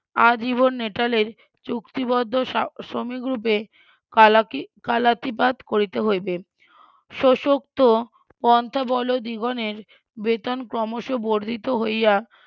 আজীবন নেটালের চুক্তিবদ্ধ ~ শ্রমিকরুপে কালাকি কালাকিবাদ করিতে হইবে শোষক্ত পন্থা বল জীবনের বেতন ক্রমশ বর্ধিত হইয়া